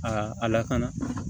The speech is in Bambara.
Aa a lakana